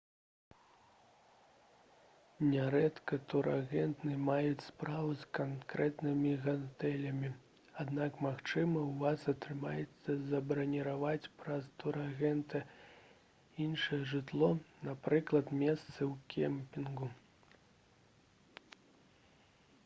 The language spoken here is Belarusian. нярэдка турагенты маюць справу з канкрэтнымі гатэлямі аднак магчыма у вас атрымаецца забраніраваць праз турагента іншае жытло напрыклад месцы ў кемпінгу